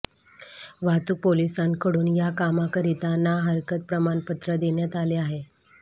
वाहतूक पोलिसांकडून या कामाकरिता ना हरकत प्रमाणपत्र देण्यात आले आहे